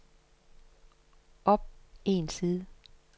op en side